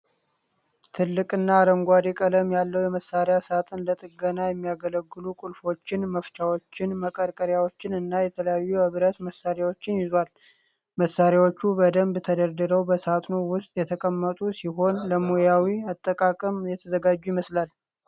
ትልቅ አረንጓዴ ቀለም ያለው የመሳሪያ ሳጥን ለጥገና የሚያገለግሉ ቁልፎችን፣ መፍቻዎችን፣ መቀርቀሪያዎችን እና የተለያዩ የብረት መሳሪያዎችን ይዟል። መሣሪያዎቹ በደንብ ተደርድረው በሳጥኑ ውስጥ የተቀመጡ ሲሆን፣ ለሙያዊ አጠቃቀም የተዘጋጁ ይመስላሉ።